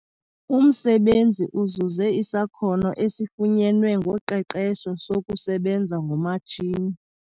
Umsebenzi uzuze isakhono esifunyenwe ngoqeqesho sokusebenza ngomatshini.